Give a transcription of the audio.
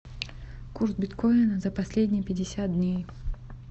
курс биткоина за последние пятьдесят дней